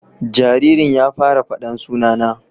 Jaririn ya fara fada sunana